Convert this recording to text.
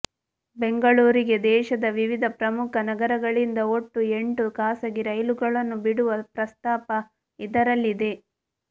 ಬೆಂಗಳೂರಿಗೆ ದೇಶದ ವಿವಿಧ ಪ್ರಮುಖ ನಗರಗಳಿಂದ ಒಟ್ಟು ಎಂಟು ಖಾಸಗಿ ರೈಲುಗಳನ್ನು ಬಿಡುವ ಪ್ರಸ್ತಾಪ ಇದರಲ್ಲಿದೆ